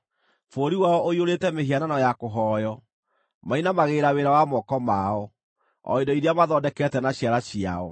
Bũrũri wao ũiyũrĩte mĩhianano ya kũhooywo; mainamagĩrĩra wĩra wa moko mao, o indo iria mathondekete na ciara ciao.